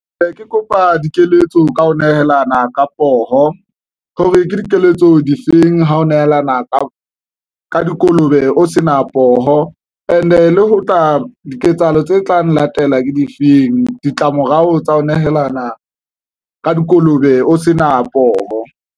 Ee, ke kopa dikeletso ka ho nehelana ka poho hore ke dikeletso difeng ha ho nehelana ka dikolobe o se na poho and-e le ho tla diketsahalo tse tlang, latela ke difeng ditlamorao tsa ho nehelana ka dikolobe o se na poho.